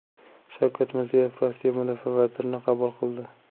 Shavkat Mirziyoyev Rossiya mudofaa vazirini qabul qildi .